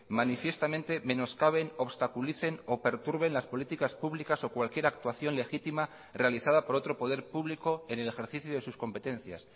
manifiestamente menoscaben obstaculicen o perturben las políticas públicas o cualquier actuación legítima realizada por otro poder público en el ejercicio de sus competencias